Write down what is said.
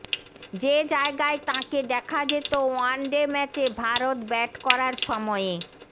যে জায়গায় তাঁকে দেখা যেত ওয়ান ডে ম্যাচে ভারত ব্যাট করার সময়ে